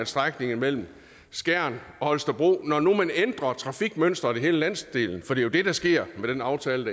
strækningen mellem skjern og holstebro når nu man ændrer trafikmønsteret i hele landsdelen for det er jo det der sker med den aftale